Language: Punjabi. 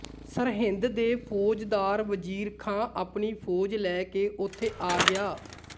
ਸਰਹਿੰਦ ਦੇ ਫੌਜਦਾਰ ਵਜ਼ੀਰ ਖਾਂ ਆਪਣੀ ਫੌਜ ਲੈ ਕੇ ਉਥੇ ਆ ਗਿਆ